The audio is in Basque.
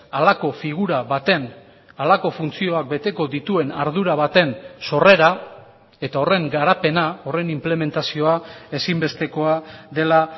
halako figura baten halako funtzioak beteko dituen ardura baten sorrera eta horren garapena horren inplementazioa ezinbestekoa dela